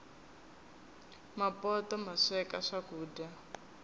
mapoto masweka swakuja